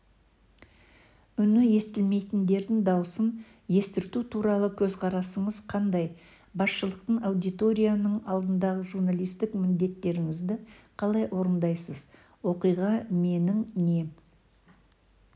үні естілмейтіндердің дауысын естірту туралы көзқарасыңыз қандай басшылықтың аудиторияның алдындағы журналистік міндеттеріңізді қалай орындайсыз оқиға менің не